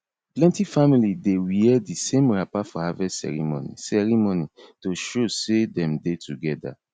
plenty family dey wear the same wrapper for harvest ceremony ceremony to show sey them dey together